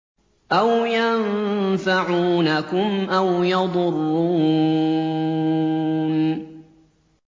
أَوْ يَنفَعُونَكُمْ أَوْ يَضُرُّونَ